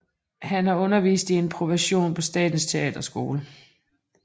Han har undervist i improvisation på Statens Teaterskole